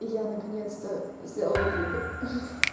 я наконец-то сделала выбор